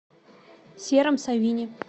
сером савине